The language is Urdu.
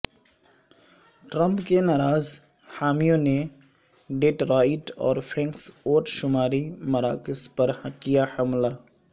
ٹرمپ کے ناراض حامیوں نے ڈیٹرائٹ اور فینکس ووٹ شماری مراکز پر کیا حملہ